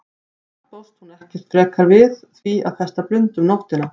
Samt bjóst hún ekkert frekar við því að festa blund um nóttina.